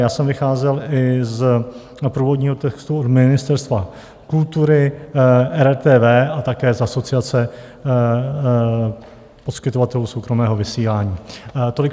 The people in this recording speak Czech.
Já jsem vycházel i z původního textu od Ministerstva kultury, RTV a také z Asociace poskytovatelů soukromého vysílání.